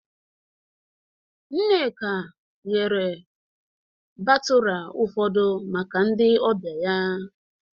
Nneka eghere batụra ụfọdụ maka ndị ọbịa ya